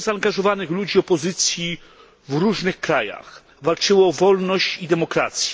Wielu zaangażowanych ludzi opozycji w różnych krajach walczyło o wolność i demokrację.